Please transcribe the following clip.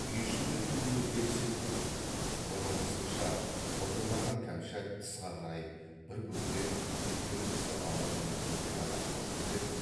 үй ішінде түк өзгеріс сезбеген бұрынғысынша былдырлаған кәмшат тысқа қарай бір бөтен үлкен кісі ала жөнелгенде ғана шошынып еді